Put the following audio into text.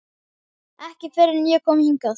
Ekki fyrr en ég kom hingað.